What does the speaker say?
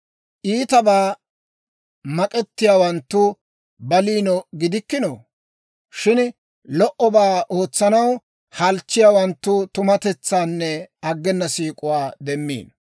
Iitabaa mak'ettiyaawanttu baliino gidikkinoo? Shin lo"obaa ootsanaw halchchiyaawanttu tumatetsaanne aggena siik'uwaa demmiino.